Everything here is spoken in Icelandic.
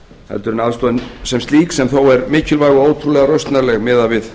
heldur en aðstoðin sem slík sem þó er mikilvæg og ótrúlega rausnarleg miðað við